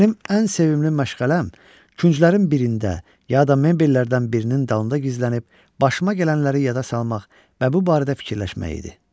Mənim ən sevimli məşğələm künclərin birində, ya da mebellərdən birinin dalında gizlənib başıma gələnləri yada salmaq və bu barədə fikirləşmək idi.